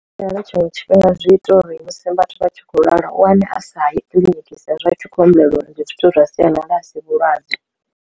Tshiṅwe tshifhinga zwi ita uri musi vhathu vha tshi khou lwala u wane a sa ye kiḽiniki sa ezwi a thi khou humbulela uri ndi zwithu zwa sialala a si vhulwadze.